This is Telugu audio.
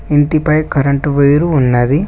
ఇంటి పై కరెంటు వైర్ ఉన్నది.